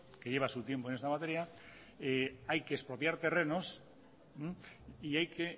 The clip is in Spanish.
que lleva su tiempo en esta materia hay que expropiar terrenos y hay que